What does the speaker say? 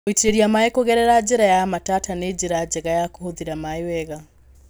Gũitĩrĩria maĩ kũgerera njĩra ya matata nĩ njĩra njega ya kũhũthĩra maĩ wega.